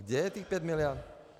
Kde je těch 5 mld.?